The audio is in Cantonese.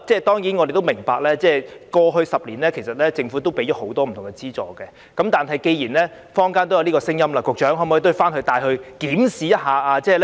當然，我們也明白，政府其實在過去10年已提供很多不同資助，但既然坊間有聲音，局長可否回去檢視呢？